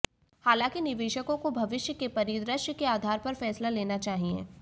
हालांकि निवेशकों को भविष्य के परिदृश्य के आधार पर फैसला लेना चाहिए